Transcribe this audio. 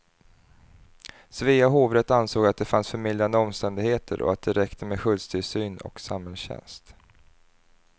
Svea hovrätt ansåg att det fanns förmildrande omständigheter och att det räcker med skyddstillsyn och samhällstjänst.